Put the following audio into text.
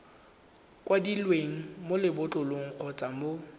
kwadilweng mo lebotlolong kgotsa mo